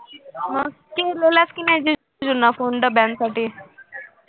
मग केलेलास कि नाही जीजूंना phone डब्यांसाठी